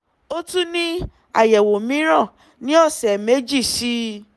ó tún ní àyẹ̀wò mìíràn ní ọ̀sẹ̀ méjì sí i